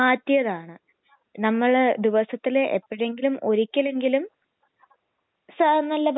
എനിക്കോ എനിക്ക് എനിക്ക് എല്ലാ ഇഷ്ട്ടമുണ്ട് ബിരിയാണി ഒക്കെ നല്ല ഇഷ്ട്ടണ്ട്